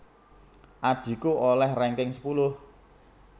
Adhiku oleh ranking sepuluh